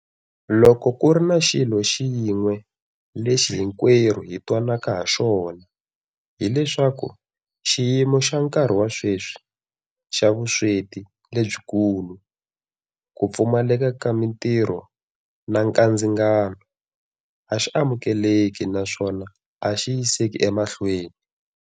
Loko ku ri na xilo xin'we lexi hinkwerhu hi twananaka haxona, hi leswaku xiyimo xa nkarhi wa sweswi - xa vusweti lebyikulu, ku pfumaleka ka mitirho na nkandzingano - a xi amukeleki naswona a xi yiseki emahlweni.